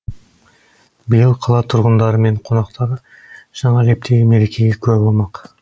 биыл қала тұрғындары мен қонақтары жаңа лептегі мерекеге куә болмақ